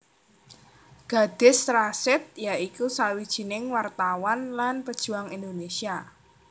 Gadis Rasid ya iku sawijining wartawan lan pejuang Indonesia